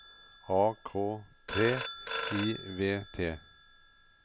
A K T I V T